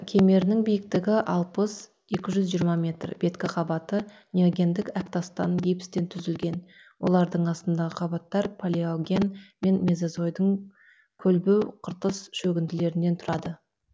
кемерінің биіктігі алпыс екі жүз жиырма метр беткі қабаты неогендік әктастан гипстен түзілген олардың астындағы қабаттар палеоген мен мезозойдың көлбеу қыртыс шөгінділерінен тұрады